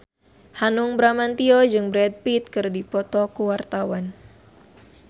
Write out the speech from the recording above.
Hanung Bramantyo jeung Brad Pitt keur dipoto ku wartawan